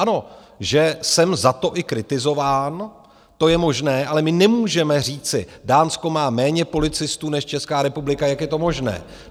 Ano, že jsem za to i kritizován, to je možné, ale my nemůžeme říci, Dánsko má méně policistů než Česká republika, jak je to možné?